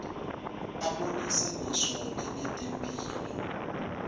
abonisa ngisho nangetemphilo